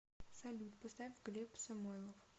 салют поставь глеб самойлов